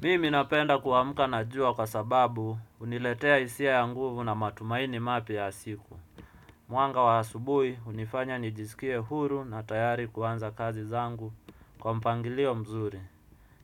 Mimi ninapenda kuamka na jua kwa sababu huniletea hisia ya nguvu na matumaini mapya ya siku. Mwanga wa asubuhi hunifanya nijisikie huru na tayari kuanza kazi zangu kwa mpangilio mzuri.